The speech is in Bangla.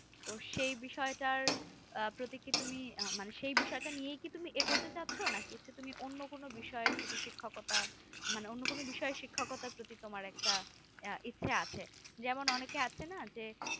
সেই বিষয় টার প্রতি কি তুমি মানে সেই বিষয় টা নিয়ে কি তুমি এগোতে চাইছো না কিছু তুমি অন্য না অন্য কোনো বিষয় এর প্রতি শিক্ষকতা মানে অন্য কোনো বিষয় শিক্ষকতার প্রতি তোমার একটা ইচ্ছে আছে যেমন অনেকে আছে না যে